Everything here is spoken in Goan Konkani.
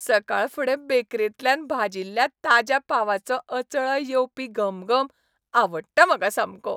सकाळफुडें बेकरेंतल्यान भाजिल्ल्या ताज्या पावाचो अचळय येवपी घमघम आवडटा म्हाका सामको.